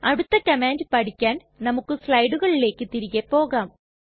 അടുത്ത കമാൻഡ് പഠിക്കാൻ നമുക്ക് സ്ലയടുകളിലേക്ക് തിരികെ പോകാം